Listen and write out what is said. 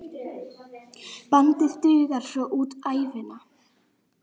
Bandið dugar svo út ævina.